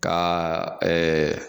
Ka ɛɛ